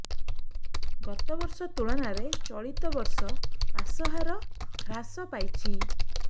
ଗତବର୍ଷ ତୁଳନାରେ ଚଳିତ ବର୍ଷ ପାସ ହାର ହ୍ରାସ ପାଇଛି